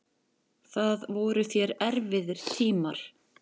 Það voru þér erfiðir tímar.